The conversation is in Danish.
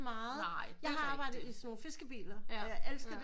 Jeg har arbejdet i sådan nogle fiskebiler og jeg elskede det